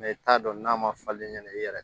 i t'a dɔn n'a ma falen ɲɛna i yɛrɛ